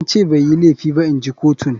An ce bai yi laifi ba inji kotun.